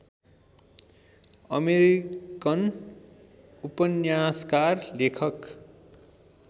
American उपन्यासकार लेखक